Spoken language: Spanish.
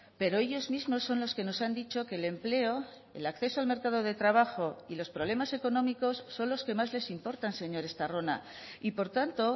pero ellos mismos son los que nos han dicho que el empleo el acceso al mercado de trabajo y los problemas económicos son los que más les importan señor estarrona y por tanto